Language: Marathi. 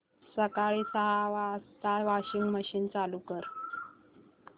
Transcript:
सकाळी सहा वाजता वॉशिंग मशीन चालू कर